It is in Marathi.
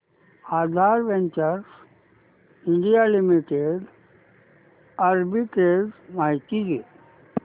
आधार वेंचर्स इंडिया लिमिटेड आर्बिट्रेज माहिती दे